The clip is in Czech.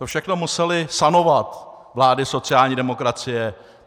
To všechno musely sanovat vlády sociální demokracie.